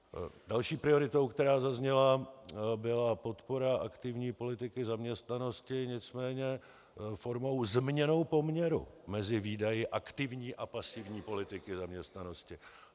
Další prioritou, která zazněla, byla podpora aktivní politiky zaměstnanosti, nicméně formou změny poměru mezi výdaji aktivní a pasivní politiky zaměstnanosti.